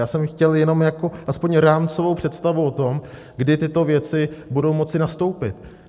Já jsem chtěl jenom jako aspoň rámcovou představu o tom, kdy tyto věci budou moci nastoupit.